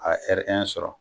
A ye sɔrɔ.